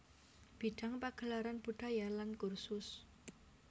Bidang pagelaran budaya lan kursus